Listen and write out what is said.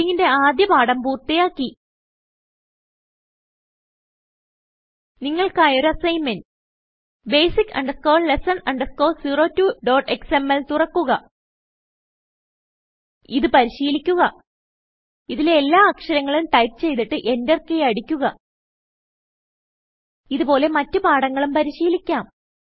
ടൈപ്പിംഗിന്റെ ആദ്യ പാഠം പൂർത്തിയാക്കി നിങ്ങൾക്കായി ഒരു അസ്സിഗ്ന്മെന്റ് basic lesson 02xmlതുറക്കുക ഇത് പരിശീലിക്കുക ഇതിലെ എല്ലാ അക്ഷരങ്ങളും ടൈപ്പ് ചെയ്തിട്ട് Enterകീ അടിക്കുക ഇത് പോലെ മറ്റ് പാഠങ്ങളും പരിശീലിക്കാം